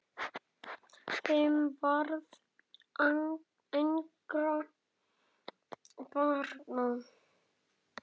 Þeim varð engra barna auðið.